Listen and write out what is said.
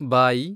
ಬಾಯಿ